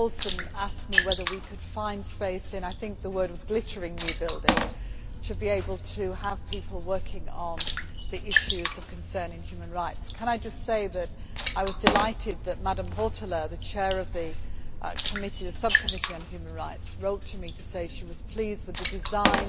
Ms Paulsen asked me whether we could find space in the I think the word was glittering' new building, to be able to have people working on the issues of concern in human rights. Can I just say that I was delighted that Madam Hautala, the Chair of the Subcommittee on Human Rights, wrote to me to say that she was pleased with the design